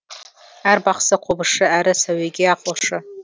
әрі бақсы қобызшы әрі сәуегей ақылшы